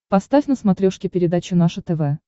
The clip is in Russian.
поставь на смотрешке передачу наше тв